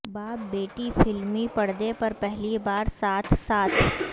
باپ بیٹی فلمی پردے پر پہلی بار ساتھ ساتھ